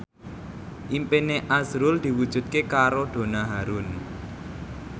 impine azrul diwujudke karo Donna Harun